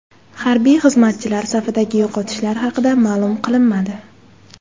Harbiy xizmatchilar safidagi yo‘qotishlar haqida ma’lum qilinmadi.